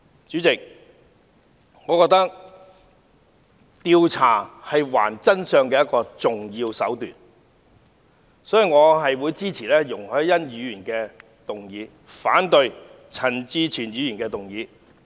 主席，我認為調查是還原真相的一個重要手段，所以，我會支持容海恩議員的議案，反對陳志全議員的議案。